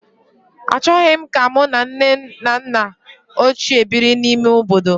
Achọghị m ka mụ na nne na nna ochie biri n'ime obodo